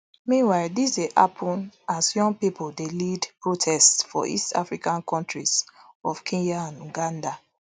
meanwhile dis dey happun as young pipo dey lead protests for east african kontris of kenya and uganda